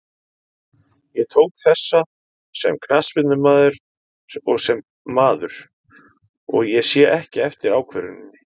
Ég tók þessa sem knattspyrnumaður og sem maður, og ég sé ekki eftir ákvörðuninni.